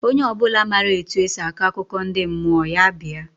Onye obula ma etu esi akọ akụkọ ndị mmụọ, ya bịa.